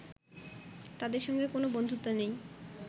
তাদের সঙ্গে কোনো বন্ধুত্ব নেই